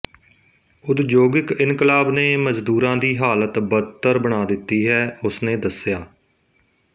ਉਦਯੋਗਿਕ ਇਨਕਲਾਬ ਨੇ ਮਜਦੂਰਾਂ ਦੀ ਹਾਲਤ ਬਦਤਰ ਬਣਾ ਦਿੱਤੀ ਹੈ ਉਸਨੇ ਦੱਸਿਆ